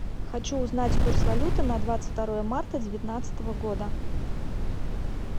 хочу узнать курс валюты на двадцать второе марта девятнадцатого года